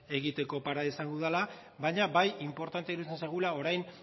egiteko parada izango dudala baina bai inportantea iruditzen zaigula orain